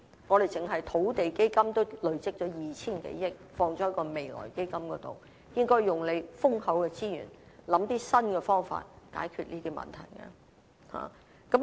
我們單是土地基金已累積了 2,000 多億元投放在未來基金，應利用豐厚的資源，構思一些新方法來解決這些問題。